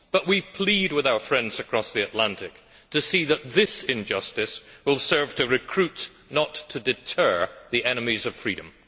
but we appeal to our friends across the Atlantic to see that this injustice will serve to recruit not to deter the enemies of freedom.